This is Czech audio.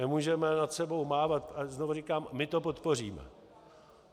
Nemůžeme nad sebou mávat - a znovu říkám, my to podpoříme.